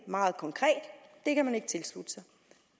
meget konkret det kan man ikke tilslutte sig